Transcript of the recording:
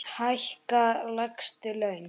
Hækka lægstu laun.